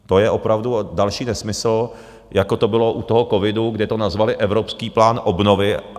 To je opravdu další nesmysl, jako to bylo u toho covidu, kde to nazvali Evropský plán obnovy.